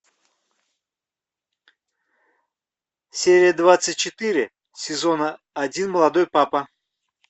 серия двадцать четыре сезона один молодой папа